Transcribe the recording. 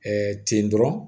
ten dɔrɔn